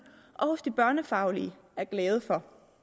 og hos de børnefaglige er glade for